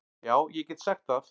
Já ég get sagt það.